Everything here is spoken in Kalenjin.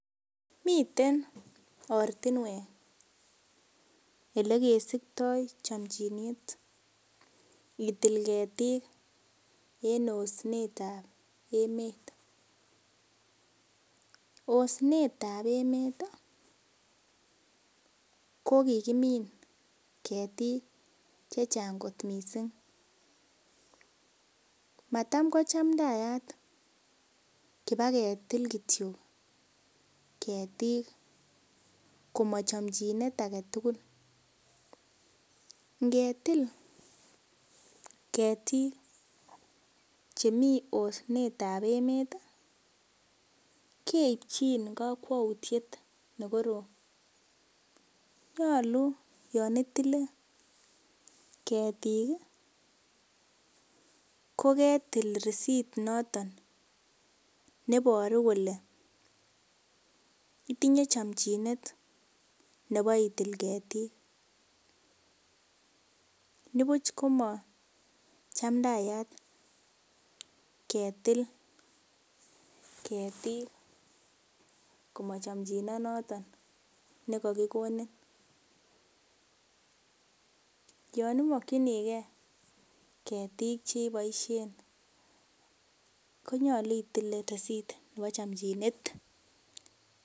Miten ortinwek olekesiktoo chomchinet itil ketik en osnet ab emet, osnet ab emet ih kokimin ketik chechang kot missing matam ko chamdaat kibaketil kityo ketik komochomchinet aketugul ngetil ketiik chemii osnet ab emet keipchin kokwoutiet neoo, nyolu yon itile ketik koketil risit noton neboru kole itinye chomchinet nebo itil ketik nibuch komachamdaat ketil ketik komochomchinet noton nekokikonin yon imokyinigee ketik cheboisien konyolu itil risit nebo chomchinet